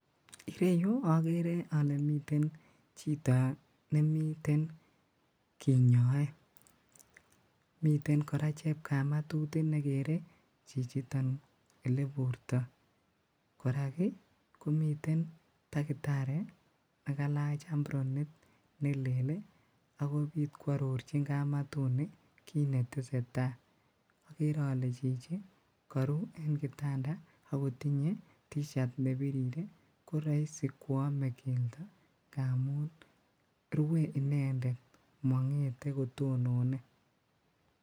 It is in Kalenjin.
Ireyuu okeree olee miten chito nemiten kinyoee, miten kora chepkamatut inikeree chichiton eleburtoo, korak komiten takitari nekalach ambronit nelel akwororchin chepkamatuni kiit netesetaa, okeree olee chichi koruu en kitanda kotinyee tishat nebirir i koroisi kwomee keldo, omuun rwee inendet mong'getee kotononee.